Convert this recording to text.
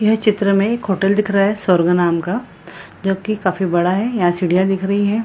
यह चित्र मे एक होटल दिख रहा है स्वर्ग नाम का जो की काफी बड़ा है यहां सीढ़ियां दिख रही है।